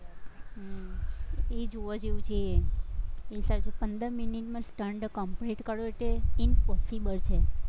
હમ એ જોવા જેવું છે, પંદર મિનિટમાં stunt complete કરે તે impossible છે.